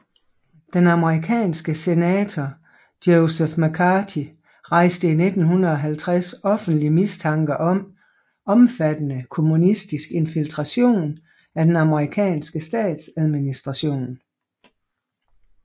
Den amerikanske senator Joseph McCarthy rejste i 1950 offentligt mistanke om omfattende kommunistisk infiltration af den amerikanske statsadministration